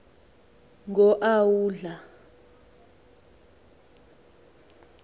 ngo a udla